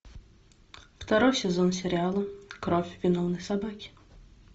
второй сезон сериала кровь виновной собаки